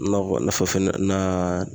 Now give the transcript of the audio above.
Nakɔ nafa fɛnɛ na.